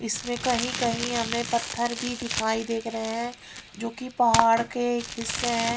इसमें कहीं कहीं हमें पत्थर भी दिखाई दे रहे हैं जो कि पहाड़ के हिस्से हैं।